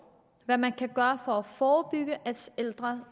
og hvad man kan gøre for at forebygge at ældre